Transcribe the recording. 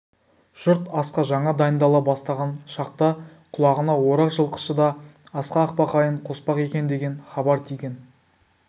жұрт асқа жаңа дайындала бастаған шақта құлағына орақ жылқышы да асқа ақбақайын қоспақ екендеген хабар тиген